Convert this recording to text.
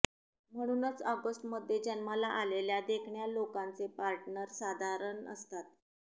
म्हणूनच ऑगस्ट मध्ये जन्माला आलेल्या देखण्या लोकांचे पार्टनर साधारण असतात